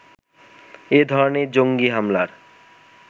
এ ধরনের জঙ্গী হামলার